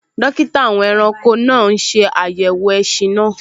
Dókítà àwọn ẹranko náà n ṣe àyẹ̀wò ẹṣin náà